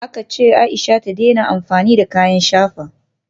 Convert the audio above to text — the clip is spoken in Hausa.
Aka ce Aisha ta daina amfani da kayan shafa